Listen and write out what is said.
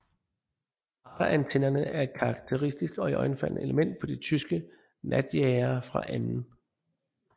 Radarantennerne er et karakteristisk og iøjnefaldende element på tyske natjagere fra 2